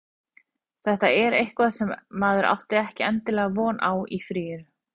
Þetta er eitthvað sem maður átti ekkert endilega von á í fríinu.